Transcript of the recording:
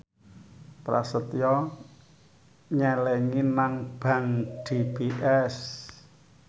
Prasetyo nyelengi nang bank DBS